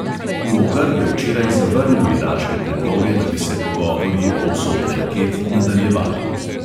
Logar je včeraj zavrnil iraške predloge, da bi se pogovori o usodi raket nadaljevali.